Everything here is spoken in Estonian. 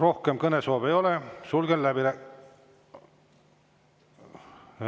Rohkem kõnesoove ei ole, sulgen läbirääkimised.